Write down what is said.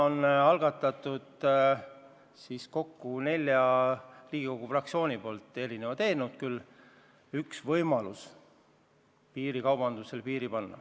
Praegu on kokku neli Riigikogu fraktsiooni algatanud erinevad eelnõud, et piirikaubandusele piir panna.